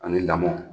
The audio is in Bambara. Ani lamɔ